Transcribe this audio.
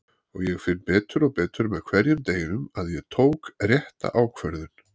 Og ég finn betur og betur með hverjum deginum að ég tók rétta ákvörðun.